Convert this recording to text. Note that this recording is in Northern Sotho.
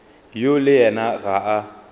yo le yena ga a